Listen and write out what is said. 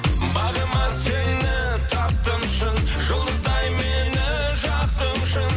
бағыма сені таптым шын жұлдыздай мені жақтың шын